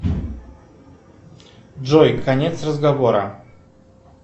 джой конец разговора